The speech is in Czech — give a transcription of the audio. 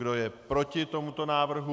Kdo je proti tomuto návrhu?